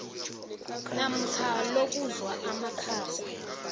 namkha lokuzwa amakhaza